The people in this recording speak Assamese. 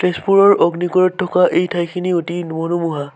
তেজপুৰৰ অগ্নিগড়ত থকা এই ঠাইখিনি অতি নৰোমোহা ।